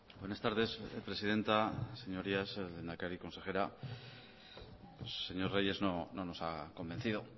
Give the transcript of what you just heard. buenas tardes presidenta señorías lehendakari consejera señor reyes no nos ha convencido